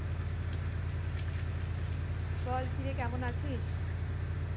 বল কিরে কেমন আছিস?